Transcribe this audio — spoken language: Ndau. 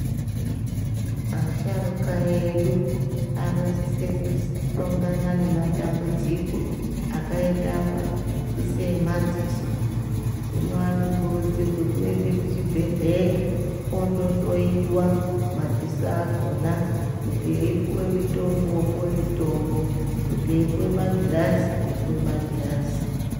Asharuka edu anosise kuhlongana nematambudziko akaita seemadziso. Hino anokurudzirwe kuende kuchibhedhleya ondohloyiwa madziso akona kuti eipiwe mitombo opiwe mitombo, kuti eipiwe magirazi opiwe magirazi.